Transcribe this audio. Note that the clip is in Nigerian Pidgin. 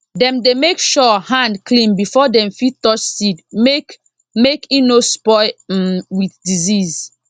dem dey make sure hand clean before dem fit touch seed make make e no spoil m with disease